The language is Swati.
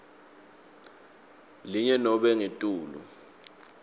linye nobe ngetulu